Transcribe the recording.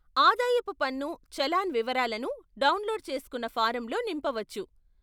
ఆదాయపు పన్ను చలాన్ వివరాలను డౌన్లోడ్ చేసుకున్న ఫారంలో నింపవచ్చు.